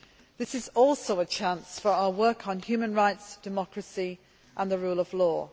This is also a chance for our work on human rights, democracy and the rule of law.